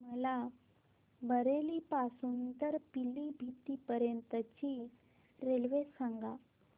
मला बरेली पासून तर पीलीभीत पर्यंत ची रेल्वे सांगा